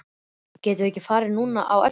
Getum við ekki farið núna á eftir?